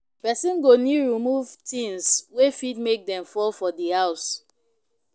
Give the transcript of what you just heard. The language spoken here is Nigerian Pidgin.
Person go need to remove things wey fit make dem fall for di house